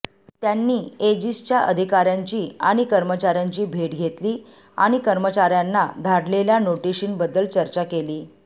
त्यांनी एजिसच्या अधिकाऱ्यांची आणि कर्मचाऱ्यांची भेट घेतली आणि कर्मचाऱ्यांना धाडलेल्या नोटीशीबद्दल चर्चा केली